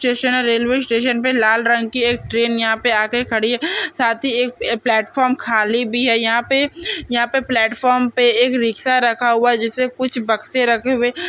जैसे ने railway station पे लाल रंग की एक ट्रेन यहा पे आके खड़ी है साथ ही एक प्लेटफॉर्म खाली भी है यहा पे यहा पे प्लेटफार्म पे एक रिक्षा रखा हुवा है जेसे कुछ बक्से रखे हुवे --